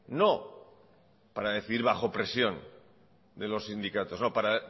no para decidir bajo presión de los sindicatos no para